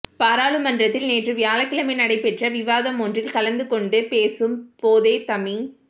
பாராளுமன்றத்தில் நேற்று வியாழக்கிழமை நடைபெற்ற விவாதமொன்றில் கலந்து கொண்டு பேசும் போதே தமி